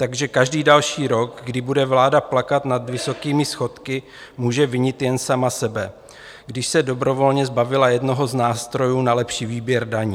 Takže každý další rok, kdy bude vláda plakat nad vysokými schodky, může vinit jen sama sebe, když se dobrovolně zbavila jednoho z nástrojů na lepší výběr daní.